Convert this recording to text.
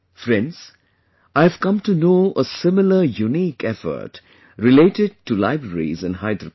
Friends, I have come to know a similar unique effort related to libraries in Hyderabad